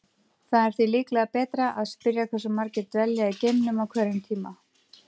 Það er því líklega betra að spyrja hversu margir dvelja í geimnum á hverjum tíma.